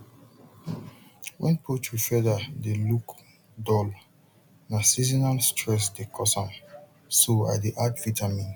when poultry feather look dull na seasonal stress dey cause am so i dey add vitamin